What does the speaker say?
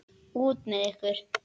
Út með ykkur!